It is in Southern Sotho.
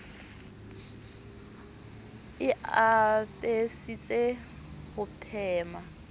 e a apesitse ho phema